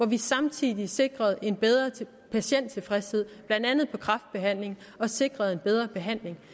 vi samtidig sikrede en bedre patienttilfredshed blandt andet i kræftbehandlingen og sikrede en bedre behandling